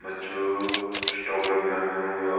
मच्छू stock लग्युं या मिलणु य।